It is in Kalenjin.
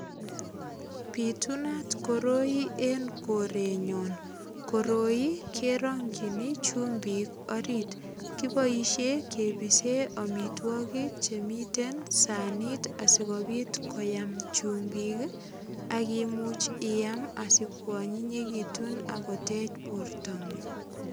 Pitunat koroi en korenyon. Koroi kerongyini chumbik orit. Kiboisie kepisen amitwogik che miten sanit asikopit koyam chumbik ak imuch iam askwonyinyekitun agot en bortongung.